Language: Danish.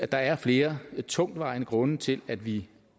der er flere tungtvejende grunde til at vi